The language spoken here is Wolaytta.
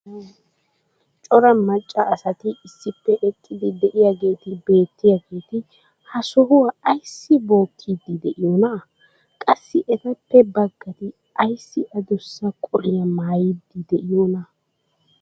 Cora macca asati issippe eqqidi diyaageeti beetiyaageeti ha sohuwaa ayssi bookiidi diyoonaa? Qassi etappe baggati ayssi adussa qoliyaa maayidi diyoonaa?